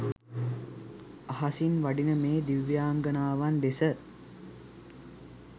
අහසින් වඩින මේ දිව්‍යාංගනාවන් දෙස.